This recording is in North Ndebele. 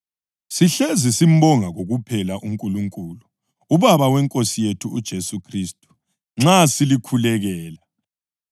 Sihlezi simbonga kokuphela uNkulunkulu, uBaba weNkosi yethu uJesu Khristu, nxa silikhulekela,